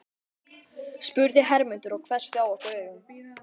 spurði Hermundur og hvessti á okkur augun.